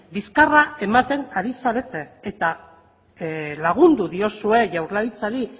bizkarra ematen ari zarete eta lagundu diozue jaurlaritzari